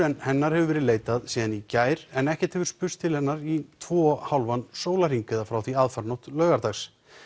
en hennar hefur verið leitað síðan í gær en ekkert hefur spurst til hennar í tvo og hálfan sólarhring eða frá því aðfaranótt laugardags